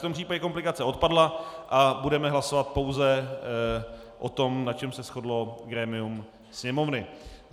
V tom případě komplikace odpadla a budeme hlasovat pouze o tom, na čem se shodlo grémium Sněmovny.